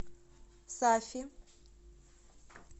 сафи